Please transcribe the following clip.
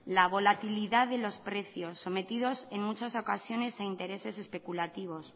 la volatilidad de los precios sometidos en muchas ocasiones a intereses especulativos